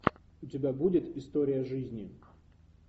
у тебя будет история жизни